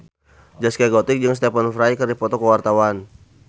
Zaskia Gotik jeung Stephen Fry keur dipoto ku wartawan